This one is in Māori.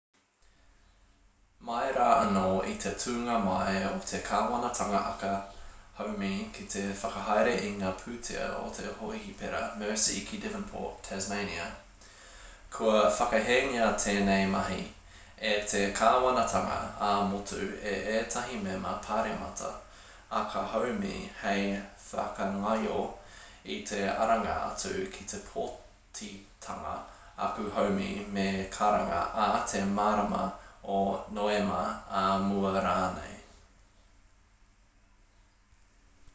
mai rā anō i te tūnga mai o te kāwanatanga aka haumi ki te whakahaere i ngā pūtea o te hōhipera mersey ki devonport tasmania kua whakahēngia tēnei mahi e te kāwanatanga ā-motu e ētahi mema pāremata aka haumi hei whakangaio i te aranga atu ki te pōtitanga aka haumi me karanga ā te marama o noema ā mua rānei